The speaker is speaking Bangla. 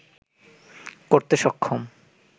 করতে সক্ষম